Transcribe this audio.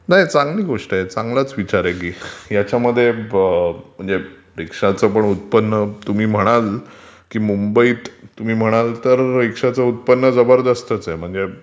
चांगली गोष्ट आहे, चांगलाचं विचार आहे की, ह्याच्यामध्ये रीक्षांच पण उत्पन्न, तुम्ही म्हणाल कि मुंबईत तुम्ही म्हणाल तर रीक्षाचं उत्पन्न जबरदस्त आहे, म्हणजे